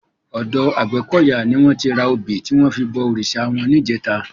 Òdò Agbekoya ni wòn ti rá óbi tiwòn fi bò órisá wòn nijètá